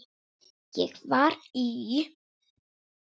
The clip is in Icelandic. Ég var í